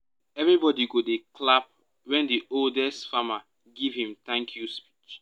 everybody go dey clap when the oldest farmer give him thank-you speech.